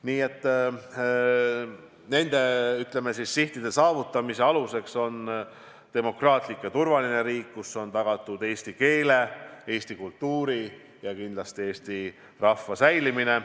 Nii et nende sihtide saavutamise aluseks on demokraatlik ja turvaline riik, kus on tagatud eesti keele, eesti kultuuri ja kindlasti eesti rahva säilimine.